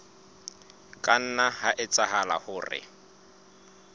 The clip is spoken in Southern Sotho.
ka nna ha etsahala hore